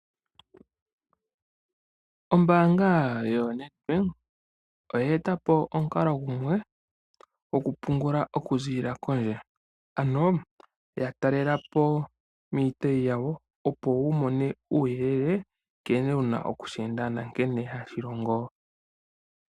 Ombaanga yo Ned bank oye etapo omukalo gumwe goku pungula oku ziilila kondje. Ano ya talelapo kiitayi yawo opo wumone uuyelele opo wushiwe nkene wuna okusheenda nonkene hashi longo.